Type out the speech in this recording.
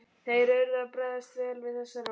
Þeir urðu að bregðast vel við þessari ósk.